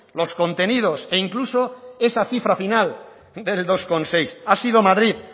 los contenidos e incluso esa cifra final del dos coma seis ha sido madrid